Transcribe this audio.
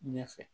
Ɲɛ fɛ